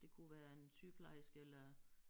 Det kunne være en sygeplejerske eller